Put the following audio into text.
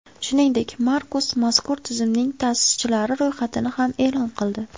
Shuningdek, Markus mazkur tizimning ta’sischilari ro‘yxatini ham e’lon qildi.